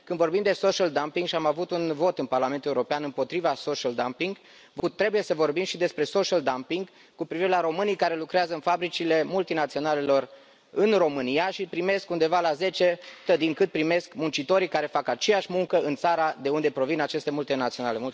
Când vorbim de social dumping și am avut un vot în Parlamentul European împotriva social dumping trebuie să vorbim și despre social dumping cu privire la românii care lucrează în fabricile multinaționalelor în România și primesc undeva la 10 din cât primesc muncitorii care fac aceeași muncă în țara de unde provin aceste multinaționale.